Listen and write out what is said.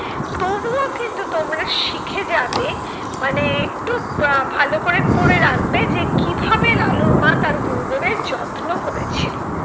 তবুও কিন্তু তোমরা শিখে যাবে, মানে একটু আহ ভালো করে পরে রাখবে যে কিভাবে লালুর মা তার গুরুদেবের যত্ন করেছিল।